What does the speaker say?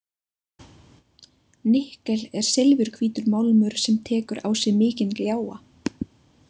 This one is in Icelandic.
Nikkel er silfurhvítur málmur sem að tekur á sig mikinn gljáa.